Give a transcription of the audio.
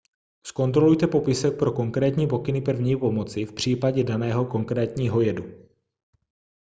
zkontrolujte popisek pro konkrétní pokyny první pomoci v případě daného konkrétního jedu